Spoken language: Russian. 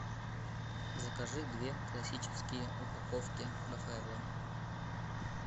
закажи две классические упаковки рафаэлло